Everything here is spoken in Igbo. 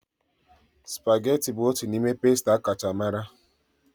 Supageti bụ otu n'ime pasta akacha mara.